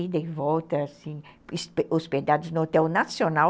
ida e volta, assim, hospedados no Hotel Nacional.